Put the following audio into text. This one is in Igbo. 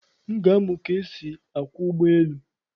M ga-amụ ka esi akwọ ụgbọ elu.